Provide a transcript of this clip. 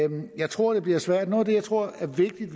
jeg tror det bliver svært noget af det jeg tror er vigtigt